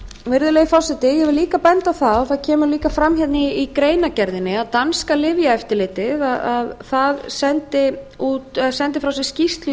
virðulegi forseti ég vil líka benda á það og það kemur líka fram í greinargerðinni að danska lyfjaeftirlitið sendi frá sér skýrslu í